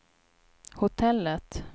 hotellet